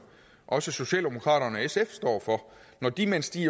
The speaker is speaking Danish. også socialdemokraterne og sfs står for når de mens de er